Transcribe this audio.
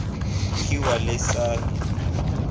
kgiwa le sa le le